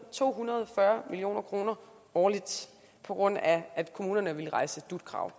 to hundrede og fyrre million kroner årligt på grund af at kommunerne ville rejse dut krav